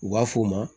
U b'a f'o ma